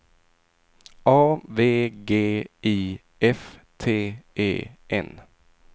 A V G I F T E N